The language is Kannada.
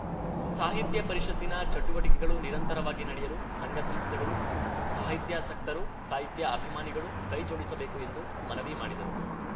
ಸಾಹಿತ್ಯ ಪರಿಷತ್ತಿನ ಚಟುವಟಿಕೆಗಳು ನಿರಂತರವಾಗಿ ನಡೆಯಲು ಸಂಘ ಸಂಸ್ಥೆಗಳು ಸಾಹಿತ್ಯಾಸಕ್ತರು ಸಾಹಿತ್ಯಅಭಿಮಾನಿಗಳು ಕೈ ಜೋಡಿಸಬೇಕು ಎಂದು ಮನವಿ ಮಾಡಿದರು